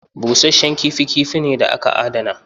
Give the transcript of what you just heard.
Busashen kifi kifi ne da aka adana.